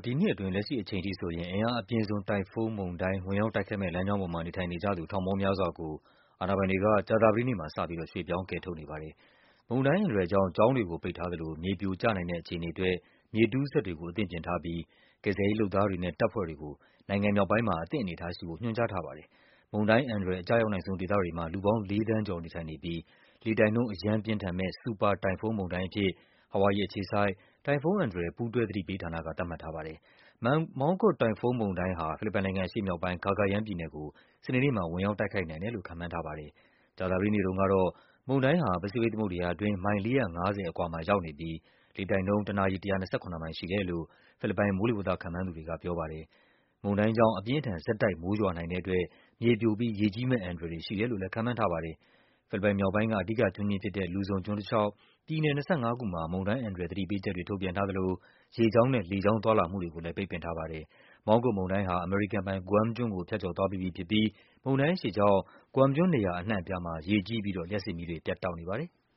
ဒီနှစ်အတွင်း လက်ရှိအချိန်ထိ အင်အားအပြင်းဆုံး တိုင်ဖုန်းမုန်တိုင်း ဝင်ရောက်တိုက်ခိုက်မယ့် လမ်းကြောင်းပေါ်မှာ နေထိုင်နေကြ သူ ဖိလစ်ပိုင်နိုင်ငံသား ထောင်ပေါင်းများစွာကို အာဏာပိုင်တွေက ကြာသပတေးနေ့မှာ စပြီး ရွှေ့ပြောင်းကယ်ထုတ်နေပါတယ်။ မုန်တိုင်းအန္တရာယ်ကြောင့် ကျောင်းတွေကိုပိတ်ထားသလို မြေပြိုကျနိုင်တဲ့အခြေအနေအတွက် မြေတူးစက်တွေကို အသင့်ပြင် ထားပြီး ကယ်ဆယ်ရေးလုပ်သားတွေနဲ့ တပ်ဖွဲ့တွေကို နိုင်ငံမြောက်ပိုင်းမှာ အသင့်အနေအထားရှိဖို့ ညွှန်ကြားထားပါတယ်။ မုန်တိုင်းအန္တရာယ် အကျရောက်နိုင်ဆုံး ဒေသတွေမှာ လူပေါင်း ၄ သန်းကျော် နေထိုင်နေပြီး လေတိုက်နှုန်း အရမ်းပြင်းထန်မယ့် ဆူပါတိုင်ဖုန်းမုန်တိုင်းအဖြစ် ဟာဝိုင်ယီအခြေစိုက် တိုင်ဖုန်း အန္တရာယ် ပူးတွဲ သတိပေးဌာနက သတ်မှတ်ထားပါတယ်။ Mangkhut တိုင်ဖုန်းမုန်တိုင်းဟာ ဖိလစ်ပိုင်နိုင်ငံ အရှေ့မြောက်ပိုင်း Cagayan ပြည်နယ်ကို စနေနေ့မှာ ဝင်ရောက်တိုက်ခိုက်နိုင် တယ်လို့ ခန့်မှန်းထားပါတယ်။ ကြာသပတေးနေ့ကတော့ မုန်တိုင်းဟာ ပစိဖိတ်သမုဒ္ဒရာအတွင်း မိုင် ၄၅၀ အကွာမှာရောက်နေပြီး လေတိုက်နှုန်း တနာရီ ၁၂၇ မိုင်ရှိတယ်လို့ ဖိလစ်ပိုင် မိုးလေဝသခန့်မှန်းသူတွေက ပြောပါတယ်။ မုန်တိုင်းကြောင့် အပြင်းအထန် ဆက်တိုက် မိုးရွာနိုင်တဲ့အတွက် မြေပြိုပြီး ရေကြီးမယ့်အန္တရာယ်တွေ ရှိတယ်လို့လည်း ခန့်မှန်း ထားကြပါတယ်။ ဖိလစ်ပိုင်မြောက်ပိုင်းက အဓိကကျွန်းကြီးဖြစ်တဲ့ Luzon ကျွန်းတလျှောက် ပြည်နယ် ၂၅ ခုမှာ မုန်တိုင်းအန္တရာယ် သတိပေးချက်တွေ ထုတ်ပြန်ထားသလို ရေကြောင်းနဲ့ လေကြောင်း သွားလာမှုတွေကိုလည်း ပိတ်ပင်ထားပါတယ်။ Mangkhut မုန်တိုင်းဟာ အမေရိကန်ပိုင် Guam ကျွန်းကို ဖြတ်ကျော်သွားပြီးပြီဖြစ်ပြီး မုန်တိုင်းအရှိန်ကြောင့် Guam ကျွန်း နေရာ အနှံ့အပြားမှာ ရေကြီးပြီးတော့ လျှပ်စစ်မီးတွေ ပြတ်တောက်နေပါတယ်။